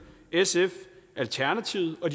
sf alternativet og